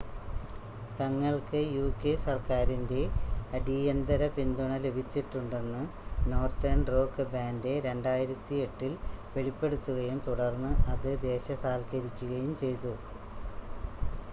തങ്ങൾക്ക് യുകെ സർക്കാരിൻ്റെ അടീയന്തര പിന്തുണ ലഭിച്ചിട്ടുണ്ടെന്ന് നോർത്തേൺ റോക്ക് ബാൻ്റ് 2008 ൽ വെളിപ്പെടുത്തുകയും തുടർന്ന് അത് ദേശസാൽക്കരിക്കുകയും ചെയ്തു